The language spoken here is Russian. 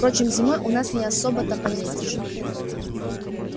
впрочем зимой у нас не особо-то поездишь